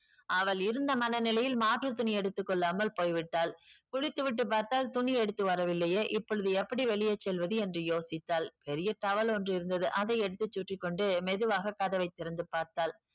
அவள் இருந்த மன நிலையில் மாற்று துணி எடுத்து கொள்ளாமல் போய் விட்டாள். குளித்து விட்டு பார்த்தால் துணி எடுத்து வரவில்லையே இப்பொழுது எப்படி வெளியே செல்வது என்று யோசித்தாள். பெரிய towel ஒன்று இருந்தது. அதை எடுத்து சுற்றி கொண்டு மெதுவாக கதவை திறந்து பார்த்தாள்.